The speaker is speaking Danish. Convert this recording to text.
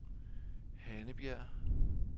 Hannebjerg